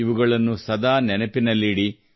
ಇವುಗಳನ್ನು ಸದಾ ನೆನಪಿನಲ್ಲಿ ಇಡಿ